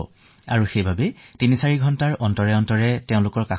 আমি সেইবাবে দুইতিনি ঘণ্টাই তেওঁলোকৰ ওচৰলৈ গৈ খবৰ সোঁধো